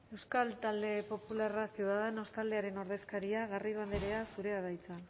euskal talde popularra ciudadanos taldearen ordezkaria garrido andrea zurea da hitza